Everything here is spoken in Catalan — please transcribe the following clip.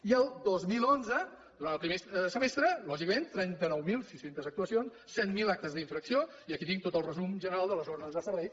i al dos mil onze durant el primer semestre lògicament trenta nou mil sis cents actuacions set mil actes d’infracció i aquí tinc tot el resum general de les ordres de servei